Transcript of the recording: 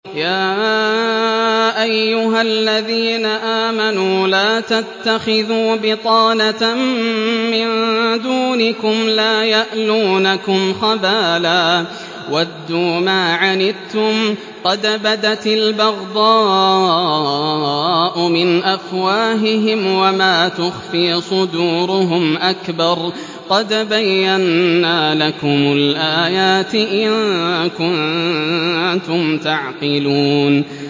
يَا أَيُّهَا الَّذِينَ آمَنُوا لَا تَتَّخِذُوا بِطَانَةً مِّن دُونِكُمْ لَا يَأْلُونَكُمْ خَبَالًا وَدُّوا مَا عَنِتُّمْ قَدْ بَدَتِ الْبَغْضَاءُ مِنْ أَفْوَاهِهِمْ وَمَا تُخْفِي صُدُورُهُمْ أَكْبَرُ ۚ قَدْ بَيَّنَّا لَكُمُ الْآيَاتِ ۖ إِن كُنتُمْ تَعْقِلُونَ